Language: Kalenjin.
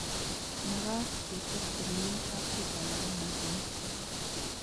Makaat kechob komye kaptuta nebo mosongik